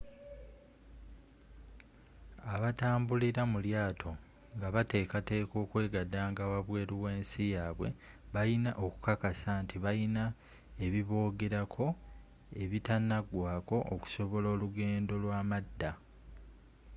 abatambulira mu lyaato nga bateekateeka okwegandanga wabweeru w'ensi yaabwe balina okukakasa nt balina ebibogerako ebitanagwaako okusobola olugendo lw'amadda